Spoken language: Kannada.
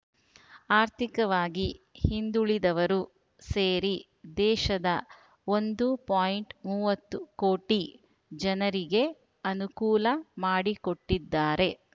ಆರ್ಥಿಕವಾಗಿ ಹಿಂದುಳಿದವರು ಸೇರಿ ದೇಶದ ಒಂದು ಪಾಯಿಂಟ್ ಮೂವತ್ತು ಕೋಟಿ ಜನರಿಗೆ ಅನುಕೂಲ ಮಾಡಿಕೊಟ್ಟಿದ್ದಾರೆ